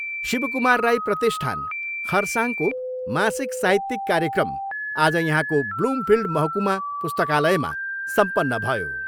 शिवकुमार राई प्रतिष्ठान, खरसाङको मासिक साहित्यिक कार्यक्रम आज यहाँको ब्लुमफिल्ड महकुमा पुस्तकालयमा सम्पन्न भयो।